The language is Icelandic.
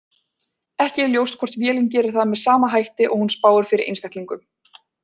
Ekki er ljóst hvort vélin gerir það með sama hætti og hún spáir fyrir einstaklingum.